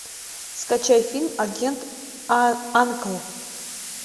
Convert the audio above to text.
скачай фильм агент анкл